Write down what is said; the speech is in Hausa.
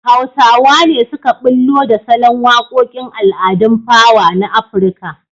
Hausawa ne suka ɓullo da salon waƙoƙn al'adun fawa na Afirka.